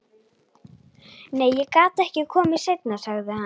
Nei, ég get ekki komið seinna, sagði hann.